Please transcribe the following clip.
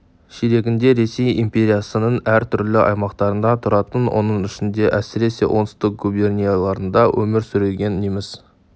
ширегінде ресей империясының әр түрлі аймақтарында тұратын оның ішінде әсіресе оңтүстік губернияларда өмір сүрген неміс